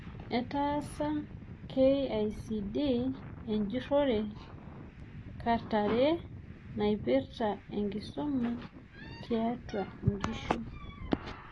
Etaasa KICD enjurorre kat are naipirta enkisuma tiatua nkishu.